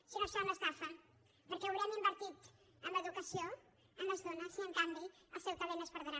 si no serà una estafa perquè haurem invertit en educació en les dones i en canvi el seu talent es perdrà